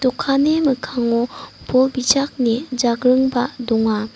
dokanni mikkango bol bijakni jagringba donga.